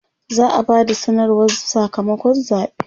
za'a Bada sanarwar Saka makon zaɓe